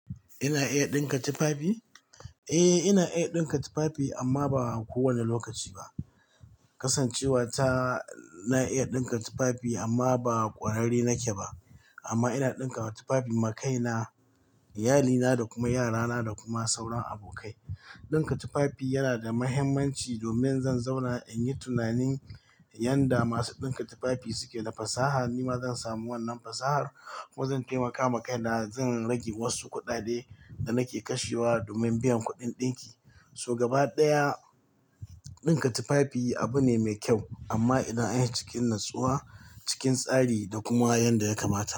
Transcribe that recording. Ina iya ɗinka tufafi? Eh, ina iya ɗinka tufafi amma ba kowane lokaci ba. Kasancewa ta, na iya ɗika tufafi amma ba ƙwararre nake ba amma ina ɗinka tufafi ma kaina, iyalina da kuma yarana da kuma sauran abokai. Dinka tufafi yanada mahimmanci domin zan zauna inyi tunani yanda masu ɗika tufafi suke da fasaha. Nima zan samu wannan fasahar, kuma zan taimaka ma kaina, zan rage wasu kuɗaɗe da nake kashewa domin biyan kuɗin ɗinki. To gaba ɗaya, ɗinka tufafi abune me kyau, amma idan anyi shi cikin natsuwa, cikin tsari da kuma yanda ya kamata.